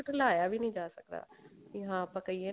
ਝੁਠਲਾਇਆ ਵੀ ਨੀ ਜਾ ਸਕਦਾ ਵੀ ਹਾਂ ਆਪਾਂ ਕਹਿਏ